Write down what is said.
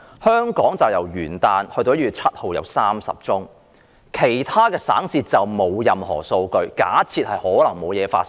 香港由元旦至1月7日錄得30宗個案，其他省市則沒有任何數據，假設沒有疫情發生。